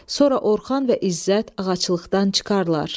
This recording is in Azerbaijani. Sonra Orxan və İzzət ağaclıqdan çıxırlar.